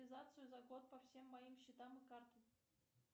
за год по всем моим счетам и картам